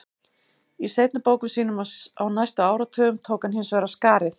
Í seinni bókum sínum á næstu áratugum tók hann hins vegar af skarið.